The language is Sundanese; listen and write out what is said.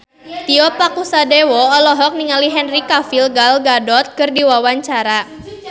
Tio Pakusadewo olohok ningali Henry Cavill Gal Gadot keur diwawancara